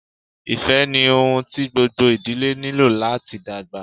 Ifẹ ni ohun ti gbogbo idile nilo lati dagba.